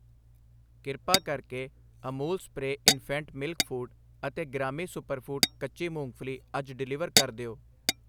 ਕਿਰਪਾ ਕਰਕੇ Amul spray infant milk food ਅਤੇ ਗ੍ਰਾਮੀ ਸੁਪਰਫੂਡ ਕੱਚੀ ਮੂੰਗਫਲੀ ਅੱਜ ਡਿਲੀਵਰ ਕਰ ਦਿਓ।